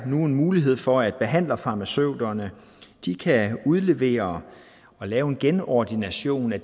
nu mulighed for at behandlerfarmaceuterne kan udlevere og lave en genordination af